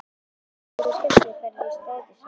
Þetta er svona skemmtiferð í strætisvagninum!